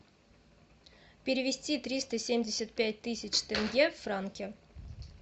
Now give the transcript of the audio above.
перевести триста семьдесят пять тысяч тенге в франки